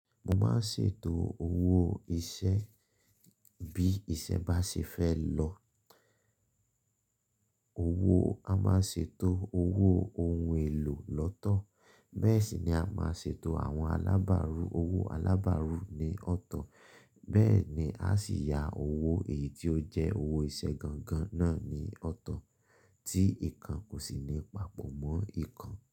Mo máa ń ṣètò owó iṣẹ́ bí iṣẹ́ bá ṣe fẹ́ lọ. Owó a máa ṣètò owó ohun èlò lọ́tọ̀. Bẹ́ẹ̀ sì ni a máa ṣètò àwọn alábàárù. Owó alábàárù ni ọ̀tọ̀ọ̀. Bẹ́ẹ̀ ni a sì yá owó èyí ti ó jẹ́ owó iṣẹ́ gangan náà ní ọ̀tọ̀ọ̀ tí ikan kò sì ní papọ̀ mọ́ ikan.